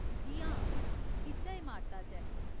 जी हां, इस्सै इमारता च ऐ।